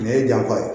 Nin ye jako ye